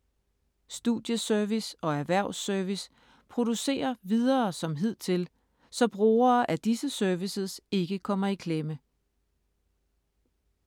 Studieservice og Erhvervs-service producerer videre som hidtil, så brugere af disse services ikke kommer i klemme.